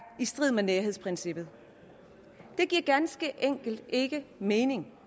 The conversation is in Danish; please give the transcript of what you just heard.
i strid med nærhedsprincippet det giver ganske enkelt ikke mening